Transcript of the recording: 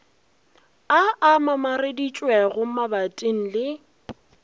a a mamareditšwego mabating le